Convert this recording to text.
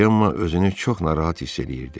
Cemma özünü çox narahat hiss eləyirdi.